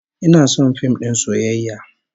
Ina son fim din soyayya